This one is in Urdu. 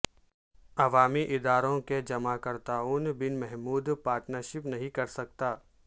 عوامی اداروں کے جماکرتاوں بن محدود پارٹنرشپ نہیں کر سکتا